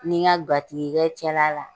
N ni nka gatigi cɛla la